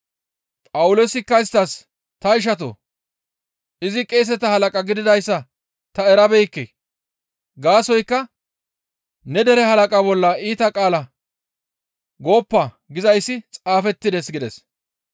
Phawuloosikka isttas, «Ta ishatoo! Izi qeeseta halaqa gididayssa ta erabeekke; gaasoykka, ‹Ne dere halaqa bolla iita qaala gooppa› gizayssi xaafettides» gides.